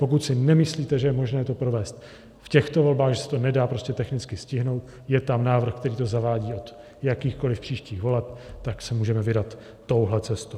Pokud si nemyslíte, že je možné to provést v těchto volbách, že se to nedá prostě technicky stihnout, je tam návrh, který to zavádí od jakýchkoliv příštích voleb, tak se můžeme vydat touhle cestou.